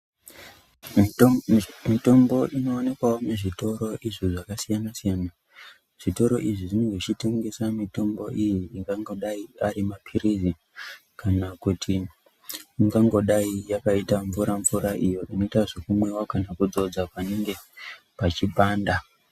Mitombo inoonekwawo muzvitoro izvo zvakasiyana siyana, zvitoro izvi zvinenge zvichitengesa mitombo iyi zvingangodai arimaphirizi kana kuti ingangodai yakaita mvura mvura iyo inoitwa zvekumwiwa kana kudzodza panenge pechipanda.